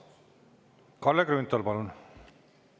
Kalle Grünthal, palun!